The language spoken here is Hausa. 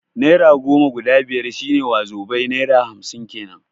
Naira goma guda biyar shi ne wazobai (naira hamsin kenan)